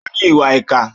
Ó ní ìwà ìkà.